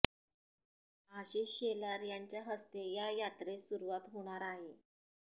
आशिष शेलार यांच्या हस्ते या यात्रेस सुरुवात होणार आहे